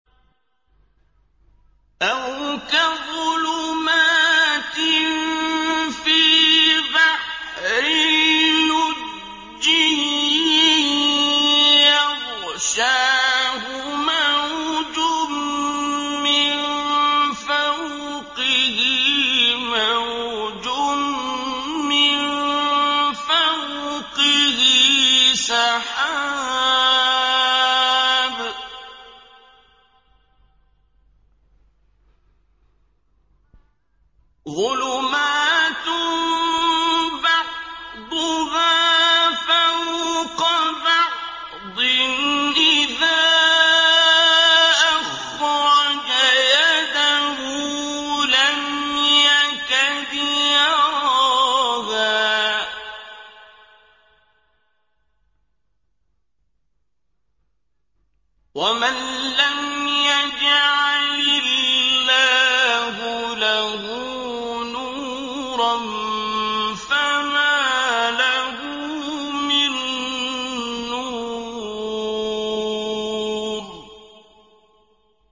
أَوْ كَظُلُمَاتٍ فِي بَحْرٍ لُّجِّيٍّ يَغْشَاهُ مَوْجٌ مِّن فَوْقِهِ مَوْجٌ مِّن فَوْقِهِ سَحَابٌ ۚ ظُلُمَاتٌ بَعْضُهَا فَوْقَ بَعْضٍ إِذَا أَخْرَجَ يَدَهُ لَمْ يَكَدْ يَرَاهَا ۗ وَمَن لَّمْ يَجْعَلِ اللَّهُ لَهُ نُورًا فَمَا لَهُ مِن نُّورٍ